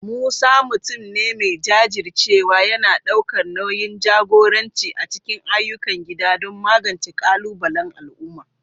Musa, mutum ne mai jajircewa, yana ɗaukar nauyin jagoranci a cikin ayyukan gida don magance ƙalubalen al'umma